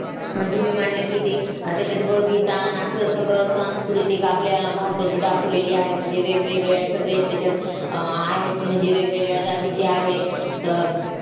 आणि तुम्ही म्हणला की ते त्याच्यात बबिता आन असं सगळं सांस्कृतिक आपल्या भारताची दाखवलेली आहे. म्हणजे वेगवेगळ्या सगळेच त्याच्यात अह आहेत, म्हणजे वेगवेगळ्या जातीची आहेत. तर